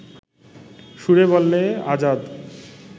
সুরে বলে আজাদ